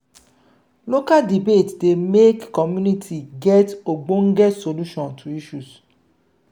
local debate dey make community get ogbonge solution to isssues